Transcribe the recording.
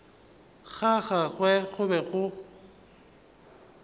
ga gagwe go be go